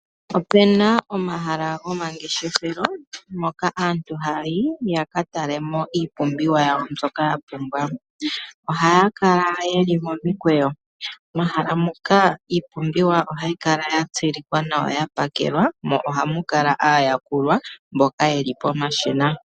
Opena omahala gomangeshefelo mpoka aantu hayayi yakatalemo iipumbiwa yawo, aantu ohaya kala yeli momikweyo. Iipumbiwa ohayi kala yalongelwa nawa mo ohamu kala muna aayakuli mboka yeli pomashina.